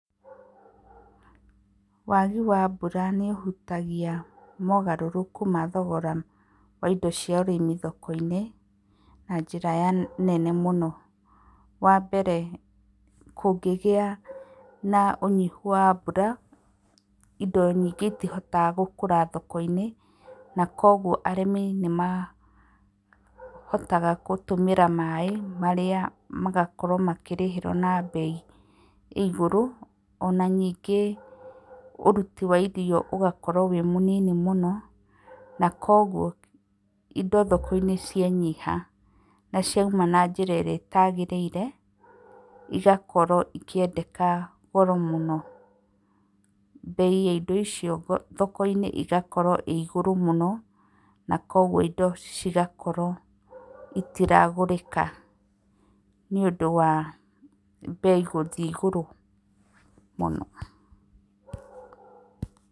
Wagi wa mbura nĩũhutagia mogarũrũku ma thogora wa indo cia ũrĩmi-thoko-inĩ na njĩra nene mũno. Wambere kũngĩgĩa na ũnyihu wa mbura, indo nyingĩ itihotaga gũkũra thoko-inĩ, na kuoguoa arĩmi nĩmahotaga gũtũmĩra maĩ marĩa magakorwo makĩrĩhĩrwo na mbei ĩ igũrũ, ona ningĩ ũruti wa irio ũgakorwo wĩ mũnini mũno na koguo indo thoko-inĩ cianyiha na ciauma na njĩra ĩrĩa ĩtagĩrĩire, igakorwo ikĩendeka goro mũno, mbei ya indo icio thoko-inĩ ĩgakorwo ĩ igũrũ mũno na kuoguo indo cigakorwo itiragũrĩka nĩũndũ wa mbei gũthiĩ igũrũ mũno.